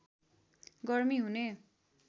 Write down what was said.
गर्मी हुने